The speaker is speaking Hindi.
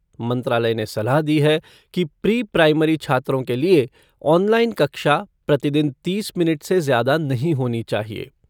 मंत्रालय ने सलाह दी है कि प्री प्राइमरी छात्रों के लिए ऑनलाइन कक्षा प्रतिदिन तीस मिनट से ज्यादा नहीं होनी चाहिए।